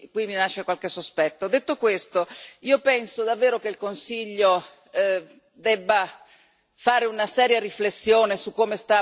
Detto questo, io penso davvero che il Consiglio debba fare una seria riflessione su come sta procedendo su tanti aspetti.